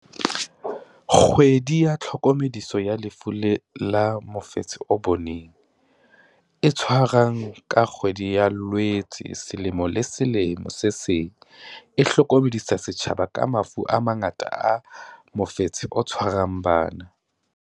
Kgwedi ya Tlhokomediso ya Lefu la Mofetshe o Baneng, e tshwarwang ka kgwedi ya Loetse selemong se seng le se seng, e hlokomedisa setjhaba ka mafu a mangata a mofetshe o tshwarang bana.